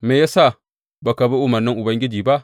Me ya sa ba ka bi umarnin Ubangiji ba?